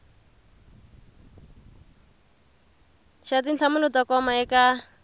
xa tinhlamulo to koma eka